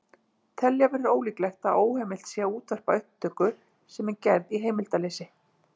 Telja verður líklegt að óheimilt sé að útvarpa upptöku sem er gerð í heimildarleysi.